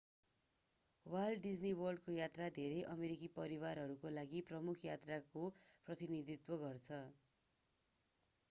volt Disney वर्ल्डको यात्रा धेरै अमेरिकी परिवारहरूका लागि प्रमुख यात्राको प्रतिनिधित्व गर्छ